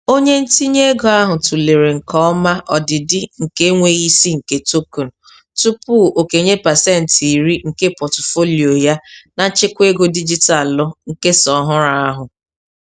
Onye ntinye ego ahụ tụlere nke ọma ọdịdị nke enweghị isi nke token tupu okenye pasentị iri nke pọtụfoliyo ya na nchekwa ego dijitalụ nkesa ọhụrụ ahụ.